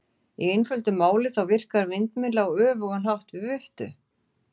Í einföldu máli þá virkar vindmylla á öfugan hátt við viftu.